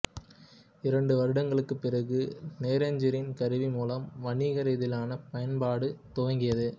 இரண்டு வருடங்களுக்குப்பிறகு ரேஞ்சரின் கருவி மூலமாக வணிக ரீதியிலான பயன்பாடு துவங்கியது